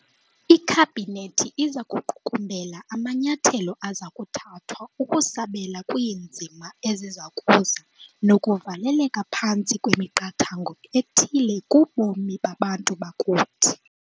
IKhabhinethi iza kuqukumbela amanyathelo aza kuthathwa ukusabela kwiinzima eziza kuza nokuvaleleka phantsi kwemiqathango ethile kubomi babantu bakuthi.